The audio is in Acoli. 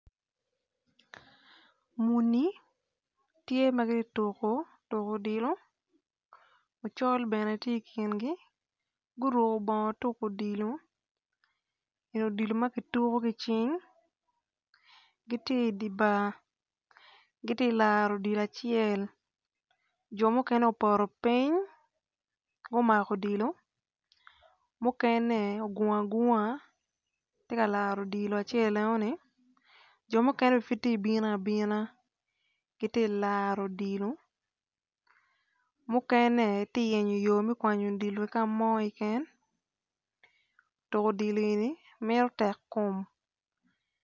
Muni tye ma giti tuku tuku odilo ocol bene ti i kingi guruku bongo tuku odilo eni odilo ma tuku ki cing giti i di bar giti laro odilo acel jo mukene oboto piny gumako odilo mukene ogungu agunga ti ka laro odilo acel enoni jo mukene bene pud ti bino abina giti laro odilo mukene ti ka yenyo me kwanyo odilo ki ka mo keken tuku odilo eni mito tek kom